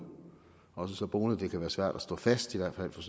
også så bonede at det kan være svært at stå fast i hvert fald for